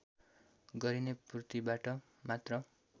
गरिने पूर्तिबाट मात्र